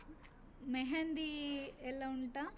मेहँदी ಎಲ್ಲ ಉಂಟಾ?